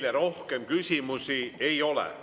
Teile rohkem küsimusi ei ole.